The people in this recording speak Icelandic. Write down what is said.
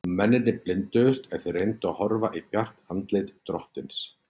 Og mennirnir blinduðust ef þeir reyndu að horfa í bjart andlit drottins.